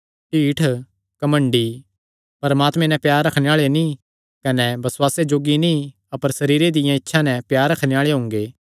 ढीठ घमंडी परमात्मे नैं प्यार रखणे आल़े नीं कने बसुआसे जोग्गे नीं अपर सरीरे दियां इच्छां नैं प्यार रखणे आल़े हुंगे